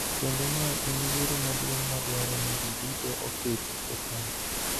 kendo mae en yiero maduong� ma dwaro ni ji duto oketi e paro.